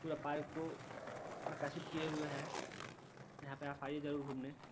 पूरे पार्क को प्रकाशित किये हुवे है। यहाँ पे आप आयें जरूर घूमने |